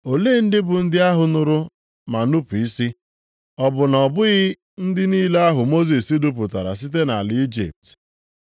Olee ndị bụ ndị ahụ nụrụ ma nupu isi? Ọ bụ na ọ bụghị ndị niile ahụ Mosis dupụtara site nʼala Ijipt?